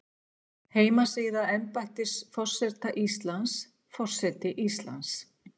Heimasíða embættis forseta Íslands, Forseti Íslands.